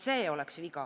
See oleks viga.